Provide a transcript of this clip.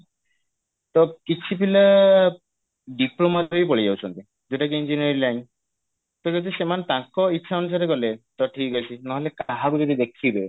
ତ କିଛି ପିଲା diploma ପାଇଁ ପଳେଇଯାଉଛନ୍ତି ଯଉଟା କି engineering line ତ ଯଦି ସେମାନେ ତାଙ୍କ ଇଛା ଅନୁସାରେ ଗଲେ ତ ଠିକ ଅଛି ନହେଲେ କାହାକୁ ଯଦି ଦେଖିବେ